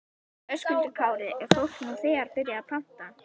Höskuldur Kári: Er fólk nú þegar byrjað að panta?